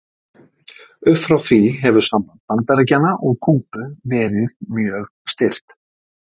upp frá því hefur samband bandaríkjanna og kúbu verið mjög stirt